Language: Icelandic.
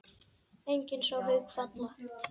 Enginn sá Hauk falla.